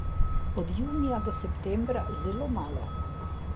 Od junija do septembra, zelo malo.